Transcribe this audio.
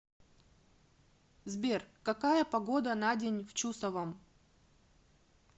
сбер какая погода на день в чусовом